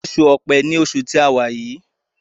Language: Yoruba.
Oṣù Ọ̀pẹ́ní oṣù tí àwa.